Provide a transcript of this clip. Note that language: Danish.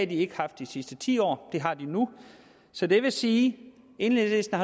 de ikke haft de sidste ti år og det har de nu så det vil sige at enhedslisten